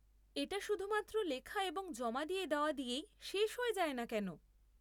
এটা শুধুমাত্র লেখা এবং জমা দিয়ে দেওয়া দিয়েই শেষ হয়ে যায় না কেন?